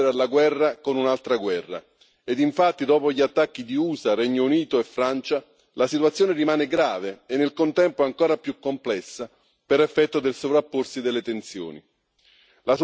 Non si può rispondere alla guerra con un'altra guerra e infatti, dopo gli attacchi di Stati Uniti, Regno Unito e Francia, la situazione rimane grave e, nel contempo, ancora più complessa per effetto del sovrapporsi delle tensioni.